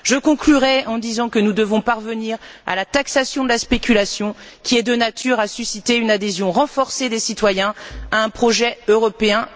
Je conclurai en disant que nous devons parvenir à la taxation de la spéculation, qui est de nature à susciter une adhésion renforcée des citoyens à un projet européen mieux financé.